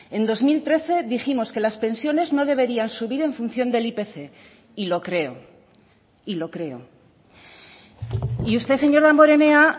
en dos mil trece dijimos que las pensiones no deberían subir en función del ipc y lo creo y lo creo y usted señor damborenea